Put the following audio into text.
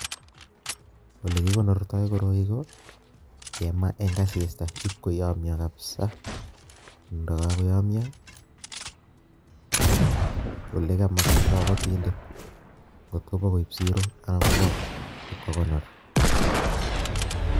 Ole kikonortoi koroi ko, kemaa eng' asista, ipkoyomyo kapsaa, ndagagoyomyoo, ole kamakta kabatindet. Ng'ot kobo koib siro, anan kobo ipkokonor